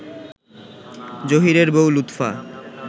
জহীরের বউ লুৎফা